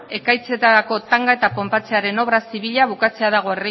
ekaitzetarako tanga eta ponpatzearen obra zibila bukatzea dago